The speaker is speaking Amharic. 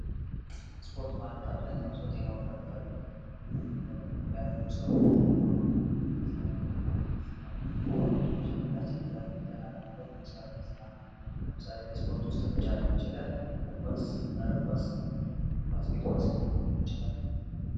ስፖርት ማለት አብዛኛውን ሰው ጤናውን ለመጠበቅ እንዲሁም ኧ ያለውን ሰውነት ለማጎልበት የሚሰራው አይነት ስራ ነው ።እንዲሁም ሰውነታችን ዘና ለማድረግ የምንሰራው አይነት ስራ ነው ።ለምሳሌ ከስፖርት ውስጥ ሩጫ ሊሆን ይችላል እግር ኳስ፣ መረብ ኳስ እንዲሁም ባስኬት ኳስ ሊሆን ይችላል።